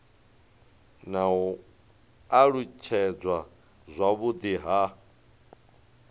na u alutshedzwa zwavhudi ha